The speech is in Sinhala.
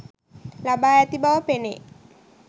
ලබා ඇති බව පෙනේ.